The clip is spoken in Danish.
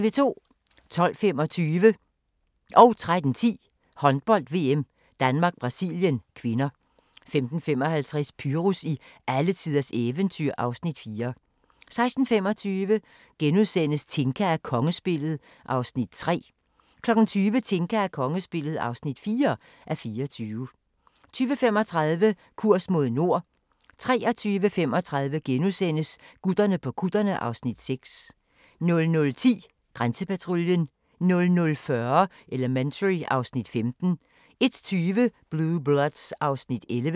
12:25: Håndbold: VM - Danmark-Brasilien (k) 13:10: Håndbold: VM - Danmark-Brasilien (k) 15:55: Pyrus i alletiders eventyr (Afs. 4) 16:25: Tinka og kongespillet (3:24)* 20:00: Tinka og kongespillet (4:24) 20:35: Kurs mod nord 23:35: Gutterne på kutterne (Afs. 6)* 00:10: Grænsepatruljen 00:40: Elementary (Afs. 15) 01:20: Blue Bloods (Afs. 11)